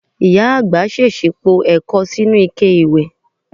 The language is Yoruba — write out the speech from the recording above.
Màmá àgbà s̩ès̩ì po è̩ko̩ sínú ike ìwẹ̀.